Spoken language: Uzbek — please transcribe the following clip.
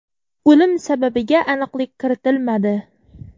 O‘lim sababiga aniqlik kiritilmadi.